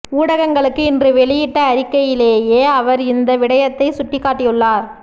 ஊடகங்களுக்கு இன்று வெளியிட்ட அறிக்கையிலேயே அவர் இந்த விடயத்தைச் சுட்டிக்காட்டியுள்ளார்